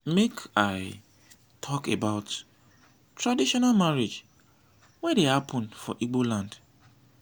make i tok about traditional marriage wey dey hapun for igboland